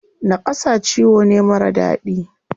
Naƙasa ciwo ne marar daɗi.